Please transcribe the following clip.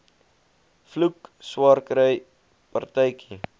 vloek swaarkry partytjie